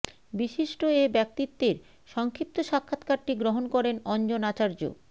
বিশিষ্ট এ ব্যক্তিত্বের সংক্ষিপ্ত সাক্ষাৎকারটি গ্রহণ করেন অঞ্জন আচার্য